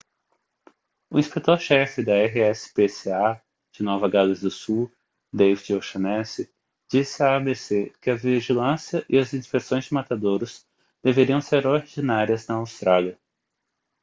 o inspetor-chefe da rspca de nova gales do sul david o'shannessy disse à abc que a vigilância e as inspeções de matadouros deveriam ser ordinárias na austrália